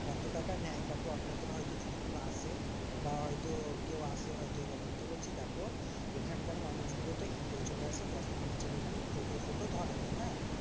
কত টাকা নেয় কাকু আপনাদের হয়তো যদি কোনো আসে? বা হয়তো কেউ আসে হয়তো এরকম? তো বলছে দেখো এখানকার মানুষগুলো তো হেঁটে চলে আসে দশমিনিট এরকম। টোটো ফোটো ধরে না হ্যাঁ?